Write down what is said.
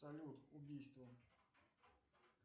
салют убийство